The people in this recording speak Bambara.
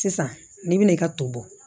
Sisan n'i bɛna i ka to